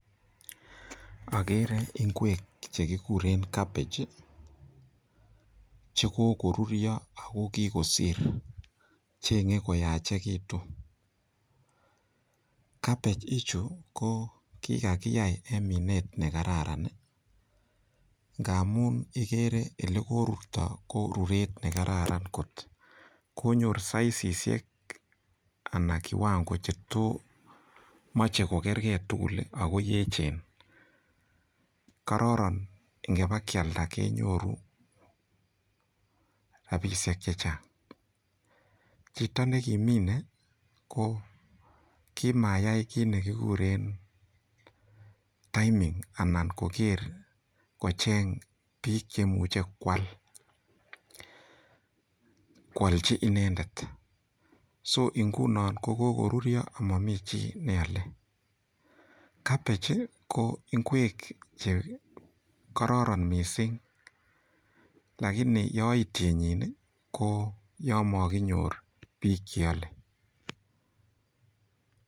Akere ingwek chekigure cabbage chekokorurio ot kosir. Che kikoyachekitu. Cabbage ichu ko kikakiyai eng minet nekararan. Ngamun igere ole korurto ko ruret ne kararan kot. konyor sisishek anan kiwango che to machei kokergei tugul ako yechen. Kororon ngobikialdo kenyoru rapishek chechang. Chito nekiminei ko kimayai kit nekigure timing anan koker kocheng biik cheimuchei koal, koalchi inendet. so nguno ko kokoruryo amomi chi neolei. Cabbage ko ingwek che kororon mising lakini yoitienyi ko yo makinyor biik cheolei.